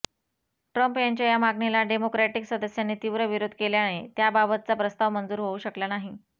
Trump यांच्या या मागणीला डेमोक्रॅटिक सदस्यांनी तीव्र विरोध केल्याने त्याबाबतचा प्रस्ताव मंजूर होऊ शकला नाही